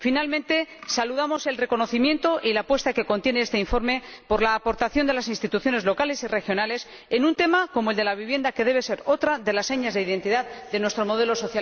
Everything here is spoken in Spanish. Por último, saludo el reconocimiento y la apuesta que contiene este informe por la aportación de las instituciones locales y regionales en un tema como el de la vivienda, que debe ser otra de las señas de identidad de nuestro modelo social europeo.